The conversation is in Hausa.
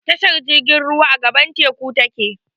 Tashar jirgin ruwa, a gaɓar teku ta ke.